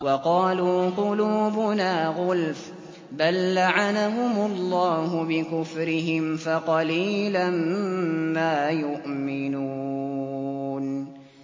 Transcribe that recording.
وَقَالُوا قُلُوبُنَا غُلْفٌ ۚ بَل لَّعَنَهُمُ اللَّهُ بِكُفْرِهِمْ فَقَلِيلًا مَّا يُؤْمِنُونَ